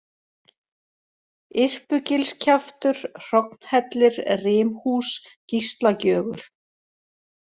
Irpugilskjaftur, Hrognhellir, Rimhús, Gíslagjögur